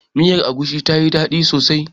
Miyar agushin tayi daɗi sosai.